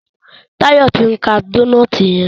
Tayo t'in ká Dónáátì yen.